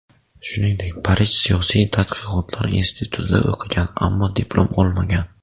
Shuningdek, Parij siyosiy tadqiqotlar institutida o‘qigan, ammo diplom olmagan.